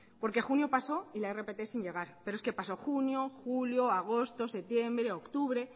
porque junio paso y la rpt sin llegar pero es que pasó junio julio agosto septiembre octubre